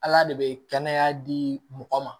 Ala de bɛ kɛnɛya di mɔgɔ ma